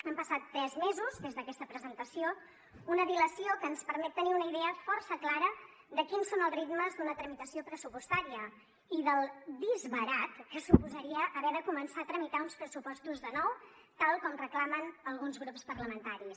han passat tres mesos des d’aquesta presentació una dilació que ens permet tenir una idea força clara de quins són els ritmes d’una tramitació pressupostària i del disbarat que suposaria haver de començar a tramitar uns pressupostos de nou tal com reclamen alguns grups parlamentaris